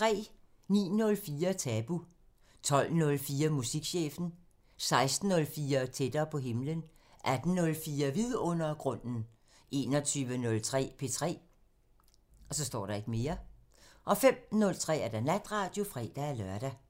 09:04: Tabu 12:04: Musikchefen 16:04: Tættere på himlen 18:04: Vidundergrunden 21:03: P3 05:03: Natradio (fre-lør)